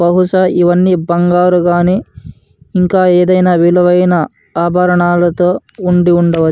బహుశా ఇవన్నీ బంగారు గాని ఇంకా ఏదైనా విలువైన ఆభరణాలతో ఉండి ఉండవచ్చు.